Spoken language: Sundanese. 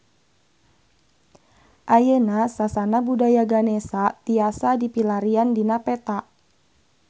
Ayeuna Sasana Budaya Ganesha tiasa dipilarian dina peta